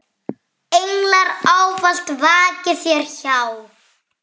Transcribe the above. Englar ávallt vaki þér hjá.